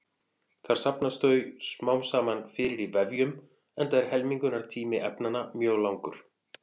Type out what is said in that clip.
Þar safnast þau smám saman fyrir í vefjum enda er helmingunartími efnanna mjög langur.